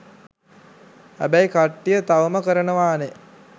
හැබැයි කට්ටිය තවම කරනවානේ.